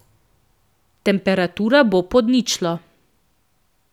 Temperatura bo pod ničlo.